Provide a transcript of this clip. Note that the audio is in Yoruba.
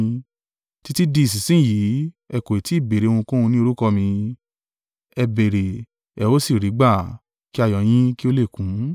Títí di ìsinsin yìí ẹ kò tí ì béèrè ohunkóhun ní orúkọ mi, ẹ béèrè, ẹ ó sì rí gbà, kí ayọ̀ yín kí ó lè kún.